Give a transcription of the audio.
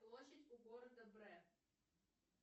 площадь у города бре